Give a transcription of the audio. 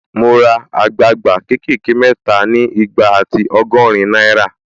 Mo ra àgbagba ké kè ké mẹ́ta ni igba ati ọgọ́rin náírà